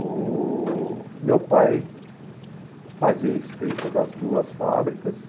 O meu pai fazia a escrita das duas fábricas.